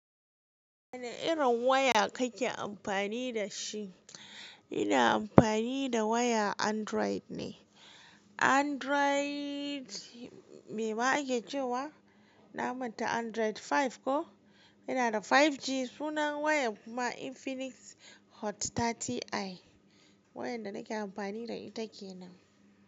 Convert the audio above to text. Wane irin waya kake amfani da shi? Ina amfani da waya Android ne. Android mema ake cewa, na manta, Android 5 ko? Inaa da 5G, sunan wayar kuma Infinix Hot 30i. Wayar da nake amfani da ita kenan.